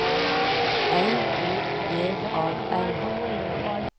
L O J A L